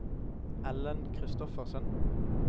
Ellen Kristoffersen